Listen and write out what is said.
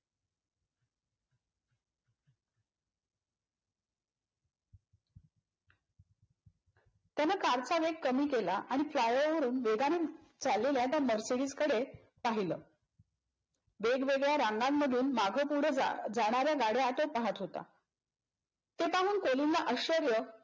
त्यान car चा वेग कमी केला आणि fly-over वरून वेगान चाललेल्या त्या मर्सिडिजकडे पाहिल. वेगवेगळ्या रांगामधून मागपुढ जाजाणाऱ्या गाड्या तो पाहत होता. ते पाहून कोलिनला आश्चर्य